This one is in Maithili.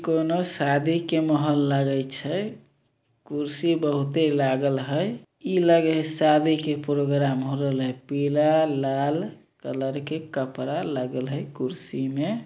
कोनो शादी के माहौल लागे छै कुर्सी बहुत ही लागल हई इ लगे है शादी के प्रोग्राम हो रहेले पिला लाल कलर के कपड़ा लागल हई कुर्सी में।